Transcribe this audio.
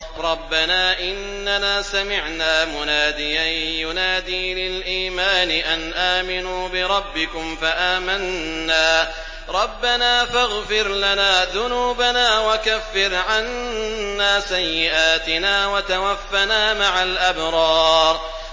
رَّبَّنَا إِنَّنَا سَمِعْنَا مُنَادِيًا يُنَادِي لِلْإِيمَانِ أَنْ آمِنُوا بِرَبِّكُمْ فَآمَنَّا ۚ رَبَّنَا فَاغْفِرْ لَنَا ذُنُوبَنَا وَكَفِّرْ عَنَّا سَيِّئَاتِنَا وَتَوَفَّنَا مَعَ الْأَبْرَارِ